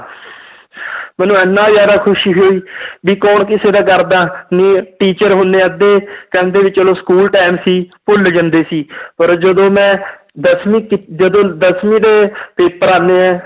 ਮੈਨੂੰ ਇੰਨਾ ਜ਼ਿਆਦਾ ਖ਼ੁਸ਼ੀ ਹੋਈ ਵੀ ਕੌਣ ਕਿਸੇ ਦਾ ਕਰਦਾ ਨੀ teacher ਹੁਣ ਅੱਧੇ ਕਹਿੰਦੇ ਵੀ ਚਲੋ school time ਸੀ, ਭੁੱਲ ਜਾਂਦੇ ਸੀ ਪਰ ਜਦੋਂ ਮੈਂ ਦਸਵੀਂ ਕੀ~ ਜਦੋਂ ਦਸਵੀਂ ਦੇ paper ਆਉਂਦੇ ਹੈ,